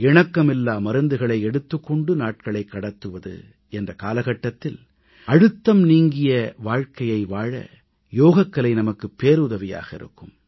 இணக்கமில்லா மருந்துகளை எடுத்துக் கொண்டு நாட்களைக் கடத்துவது என்ற காலகட்டத்தில் அழுத்தம் நீங்கிய வாழ்க்கையை வாழ யோகக்கலை நமக்கு பேருதவியாக இருக்கும்